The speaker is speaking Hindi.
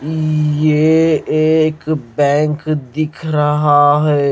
ये एक बैंक दिख रहा है।